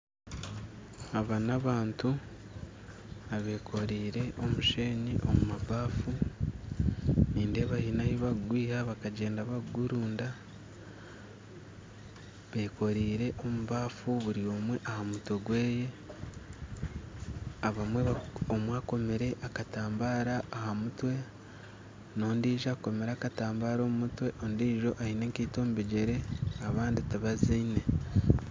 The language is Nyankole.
Aba n'abantu abekoreire omusheenyi omu mabafu nindeeba baine ahubakugwiha bakagyenda bakugurunda bekoreire omubaffu buri omwe ahamutwe gweye abamwe omwe akomire akatambara aha mutwe n'ondijo akomire akatambara omu mutwe ondijo aine enkaito omu bigyere abandi tibazine.